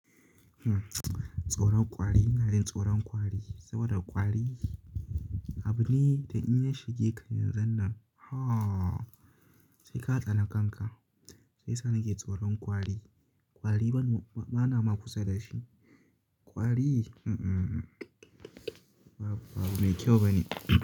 Hm, tsoron kwari. Na yi tsoron kwari saboda kwari. Abune da inya shige ka yanzunnan, ha! Sai ka tsana kanka, shiya sa nake tsoron kwari. Kwari bane, bana ma kusa dashi kwari, mm-mm, babu, babu me kyau bane.